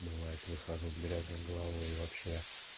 бывает выхожу с грязной головой вообще